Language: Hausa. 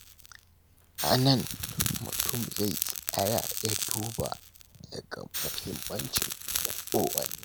A nan, mutum zai tsaya ya duba ya ga muhimmancin kowanne.